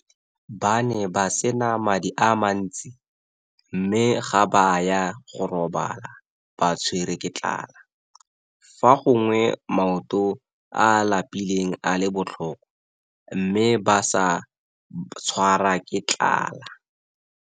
Ba ne ba se na madi a mantsi, mme ga ba a ya go robala ba tshwerwe ke tlala, fa gongwe maoto a a lapileng a le botlhoko, mme ba sa tshwarwa ke tlala.